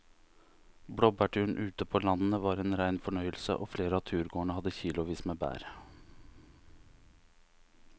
Blåbærturen ute på landet var en rein fornøyelse og flere av turgåerene hadde kilosvis med bær.